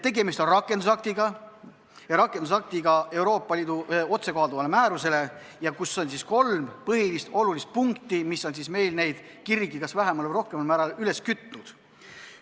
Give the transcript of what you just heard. Tegemist on rakendusaktiga, Euroopa Liidu otsekohalduva määruse rakendusaktiga, kus on kolm põhilist punkti, mis on meil kirgi kas vähemal või rohkemal määral üles kütnud.